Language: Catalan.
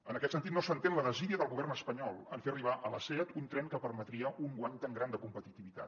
en aquest sentit no s’entén la desídia del govern espanyol en fer arribar a la seat un tren que permetria un guany tan gran de competitivitat